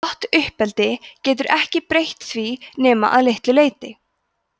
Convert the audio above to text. gott uppeldi getur ekki breytt því nema að litlu leyti